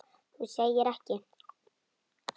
Þú segir ekki.